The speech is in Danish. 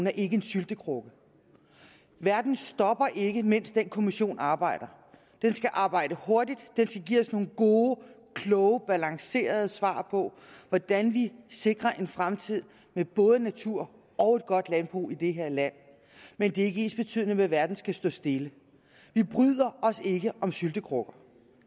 er en syltekrukke verden stopper ikke mens den kommission arbejder den skal arbejde hurtigt den skal give os nogle gode kloge balancerede svar på hvordan vi sikrer en fremtid med både natur og et godt landbrug i det her land men det er ikke ensbetydende med at verden skal stå stille vi bryder os ikke om syltekrukker